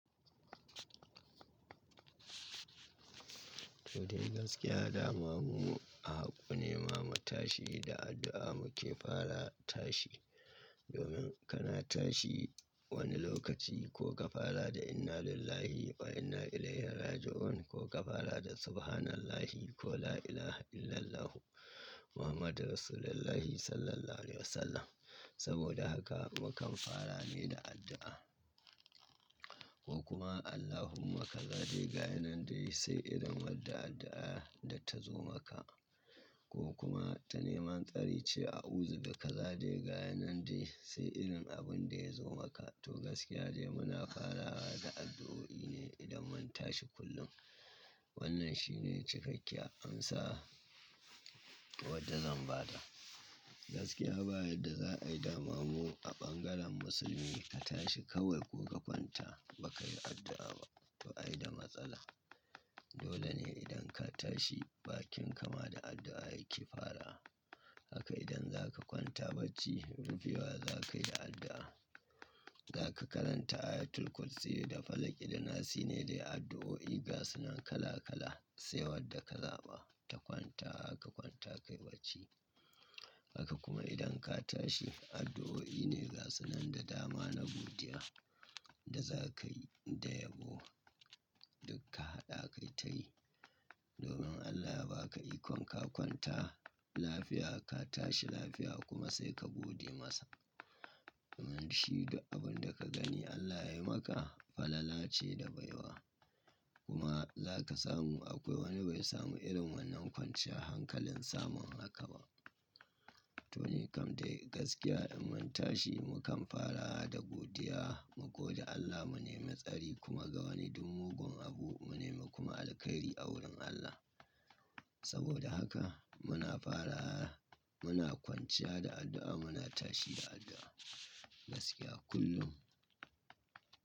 To dai gaskiya dama mu a haƙƙo ne ma mutashi da addu'a muke fara tashi. Domin kana tashi wani lokaci ko ka fara da "Inna lillahi wa inna ilaihi raji'un" ko ka fara da "Subhanallahi" ko "La ilaha illallahu Muhammadun Rasulullahi sallallahu alaihi wasallam". Saboda haka mukan fara ne da addu'a. Ko kuma "Allahumma kazade gayinan dai sai irin wadda addu'a da ta zo maka". Ko kuma ta neman tsari ce auzu da kazade gayinan dai sai irin abin da ya zo maka. To gaskiya dai muna farawa da addu'o'i ne idan mun tashi kullum. Wannan shi ne cikakkiyar amsa wadda zan ba ta. Gaskiya ba yarda za'a yi dama mu a bangaren musulmi ka tashi kawai ko ka kwanta ba ka yi addu'a ba, to ai da matsala. Dole ne idan ka tashi bakin kama da addu'a yake fara. Haka idan za ka kwanta bacci rufewa za ka yi da addu'a. Za ka karanta ayatul kursiyyi da falaqi da nasi ne dai addu'o'i gasunan kala kala sai wadda ka zaɓa ta kwanta kwanta kai bacci. Haka kuma idan ka tashi addu'o'i ne gasunan da dama na godiya da za ka yi da yabo. Duk ka haɗa kai ta yi. Domin Allah yaba ka ikon ka kwanta lafiya ka tashi lafiya kuma sai ka gode masa. Domin shi duk abin da ka gani Allah ya yi maka falala ce da baiwa. Kuma za ka samu akwai wani bai samu irin wannan kwanciyan hankalin samun haka ba. To ni kam dai gaskiya in mun tashi mukan fara da godiya mu gode Allah mu nemi tsari kuma ga wani duk mugun abu mu nema kuma alkhairi a wurin Allah. Saboda haka muna fara muna kwanciya da addu'a muna tashi da addu'a gaskiya kullum.